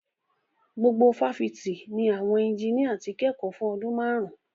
Gbogbo fáfitì ni àwọn ẹnjiníà ti ń kẹ́kọ̀ọ́ fún ọdún márùn-ún.